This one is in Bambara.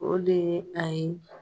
O de ye a ye